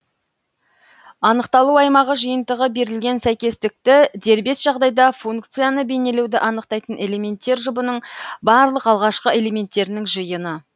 анықталу аймағы жиынтығы берілген сәйкестікті дербес жағдайда функцияны бейнелеуді анықтайтын элементтер жұбының барлық алғашқы элементтерінің жиыны